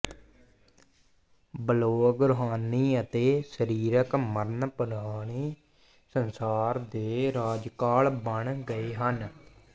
blog ਰੂਹਾਨੀ ਅਤੇ ਸਰੀਰਕ ਮਰਨ ਪੁਰਾਣੇ ਸੰਸਾਰ ਦੇ ਰਾਜਕਾਲ ਬਣ ਗਏ ਹਨ